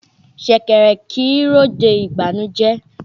Ṣẹ̀kẹ̀rẹ̀ kì í ròde ìbànújẹ́.